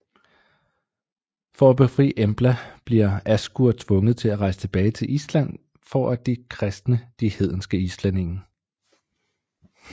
For at befri Embla bliver Askur tvunget til at rejse tilbage til Island for at kristne de hedenske islændinge